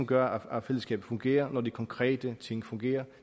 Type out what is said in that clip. gør at fællesskabet fungerer når de konkrete ting fungerer